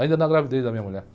Ainda na gravidez da minha mulher.